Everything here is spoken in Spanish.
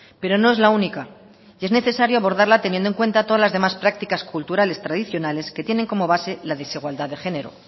pero no es la única y es necesario abordarla teniendo en cuenta todas las demás prácticas culturales tradicionales que tienen como base la desigualdad de género